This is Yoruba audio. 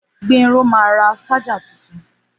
Gbénró ma ra ṣájà tuntun